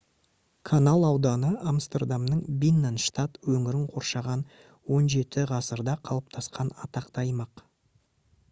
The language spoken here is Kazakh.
канал ауданы амстердамның бинненштад өңірін қоршаған 17-ғасырда қалыптасқан атақты аймақ